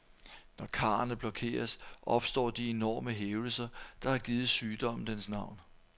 Når karrene blokeres, opstår de enorme hævelser, der har givet sygdommen dens navn.